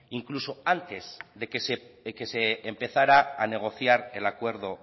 incluso antes de que se empezara a negociar el acuerdo